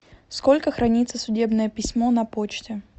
сколько хранится судебное письмо на почте